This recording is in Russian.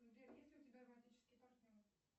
сбер есть ли у тебя романтический партнер